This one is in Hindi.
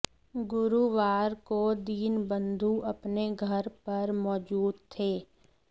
गुरुवार को दीनबंधू अपने घर पर मौजूद थे